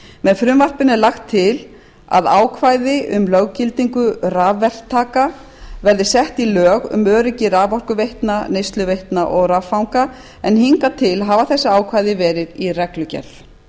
með frumvarpinu er lagt til að ákvæði um löggildingu rafverktaka verði sett í lög um öryggi raforkuveitna neysluveitna og raffanga en hingað til hafa þessi ákvæði verið í reglugerð